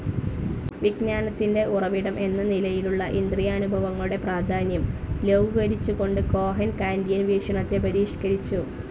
വിജ്ഞാനത്തിന്റെ ഉറവിടം എന്ന നിലയിലുള്ള ഇന്ദ്രിയാനുഭവങ്ങളുടെ പ്രാധാന്യം ലഘൂകരിച്ചുകൊണ്ട് കോഹൻ കാന്റിയൻ വീക്ഷണത്തെ പരിഷ്കരിച്ചു.